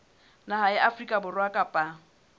naha ya afrika borwa kapa